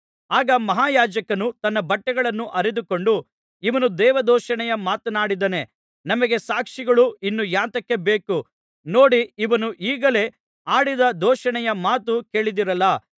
ಆಗ ಮಹಾಯಾಜಕನು ತನ್ನ ಬಟ್ಟೆಗಳನ್ನು ಹರಿದುಕೊಂಡು ಇವನು ದೇವದೂಷಣೆಯ ಮಾತನಾಡಿದ್ದಾನೆ ನಮಗೆ ಸಾಕ್ಷಿಗಳು ಇನ್ನು ಯಾತಕ್ಕೆ ಬೇಕು ನೋಡಿ ಇವನು ಈಗಲೇ ಆಡಿದ ದೂಷಣೆಯ ಮಾತನ್ನು ಕೇಳಿದಿರಲ್ಲಾ